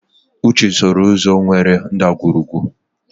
Uche sooro ụzọ nwere ndagwurugwu.